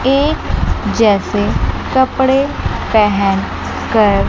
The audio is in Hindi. एक जैसे कपड़े पहेन कर--